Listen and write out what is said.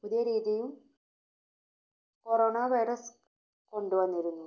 പുതിയ രീതിയും Corona virus കൊണ്ടുവന്നിരുന്നു.